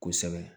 Kosɛbɛ